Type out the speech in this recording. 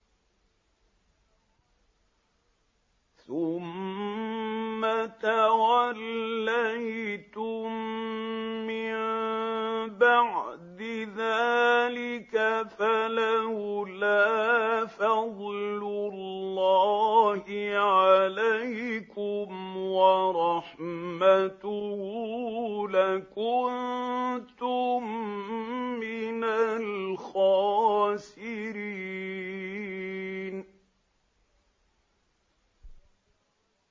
ثُمَّ تَوَلَّيْتُم مِّن بَعْدِ ذَٰلِكَ ۖ فَلَوْلَا فَضْلُ اللَّهِ عَلَيْكُمْ وَرَحْمَتُهُ لَكُنتُم مِّنَ الْخَاسِرِينَ